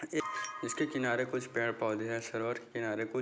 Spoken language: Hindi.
एक इसके किनारे पेड़ पौधे हैं सरोवर के किनारे कुछ --